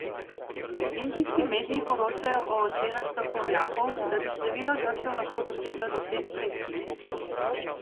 Indijski mediji poročajo o ocenah strokovnjakov, da bi število žrtev lahko doseglo deset tisoč.